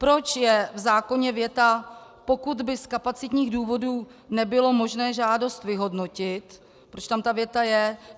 Proč je v zákoně věta "Pokud by z kapacitních důvodů nebylo možné žádost vyhodnotit", proč tam ta věta je?